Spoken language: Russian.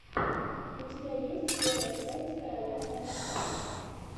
у тебя есть первая часть короля мма